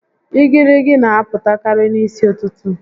Igirigi n'apụtakarị n'isi ụtụtụ